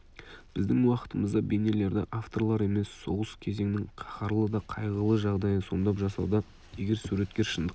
біздің уақытымызда бейнелерді авторлар емес соғыс кезеңнің қаһарлы да қайғылы жағдайы сомдап жасауда егер суреткер шындыққа